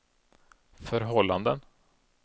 förhållanden